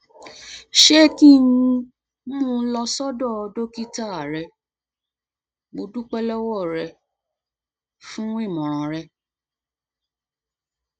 ṣé kí um n mú un um lọ sọdọ dókítà rẹ mo dúpẹ lọwọ rẹ lọwọ rẹ um fún ìmọràn rẹ